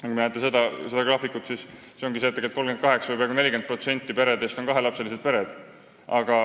Nagu te sellelt graafikult näete, on tegelikult 38%, peaaegu 40% peredest kahelapselised pered.